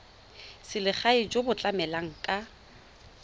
selegae jo bo tlamelang ka